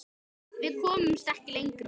Við komumst ekki lengra.